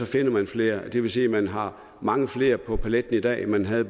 finder man flere det vil sige at man har mange flere på paletten i dag end man havde